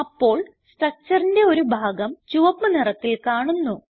അപ്പോൾ structureന്റെ ഒരു ഭാഗം ചുവപ്പ് നിറത്തിൽ കാണുന്നു